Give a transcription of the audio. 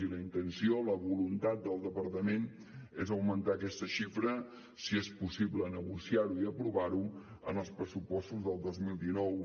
i la intenció la voluntat del departament és augmentar aquesta xifra si és possible negociar ho i aprovar ho en els pressupostos del dos mil dinou